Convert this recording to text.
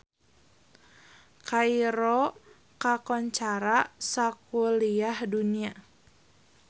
Kairo kakoncara sakuliah dunya